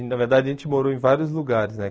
na verdade a gente morou em vários lugares, né?